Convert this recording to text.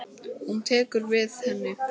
Hún tekur við henni.